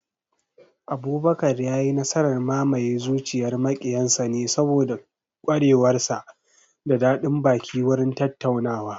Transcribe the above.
Abubakar ya yi nasarar mamaye zuciyar maƙiyan sa ne saboda ƙwarewar sa da daɗin baki wurin tattaunawa